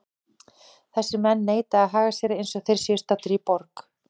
Þessir menn neita að haga sér eins og þeir séu staddir í borg.